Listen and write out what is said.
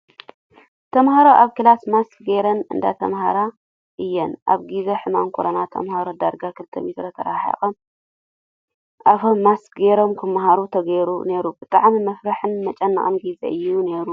ተማሃሮ ኣብ ክላስ ማስክ ገረን እንዳተማሃራ እየን። ኣብ ግዜ ሕማም ኮሮና ተማሃሮ ዳርጋ ክልተ ሜትሮ ተራሓሒቆም ኣፎም ማስክ ገይሮም ክማሃሩ ተገይሩ ነይሩ ብጣዕሚ መፍርሕን መጨነቅን ግዜ እዩ ነይሩ።